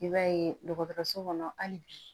I b'a ye dɔgɔtɔrɔso kɔnɔ hali bi